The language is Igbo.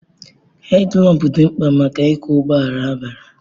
Hedilampụ dị mkpa maka ịkwọ ụgbọala abalị